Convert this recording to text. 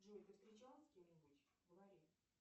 джой ты встречалась с кем нибудь говори